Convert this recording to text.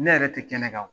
Ne yɛrɛ tɛ kɛnɛ kan